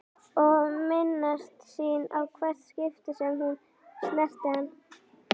Og minnast sín í hvert skipti sem hún snerti hann.